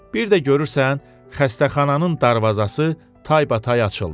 Bir də görürsən, xəstəxananın darvazası taybatay açıldı.